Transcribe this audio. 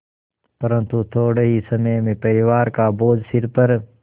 परन्तु थोडे़ ही समय में परिवार का बोझ सिर पर